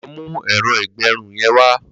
Lọ mù ẹrọ igbẹrùn yèn wà